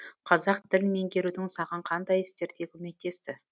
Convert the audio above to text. қазақ тілін меңгерудің саған қандай істерде көмектесті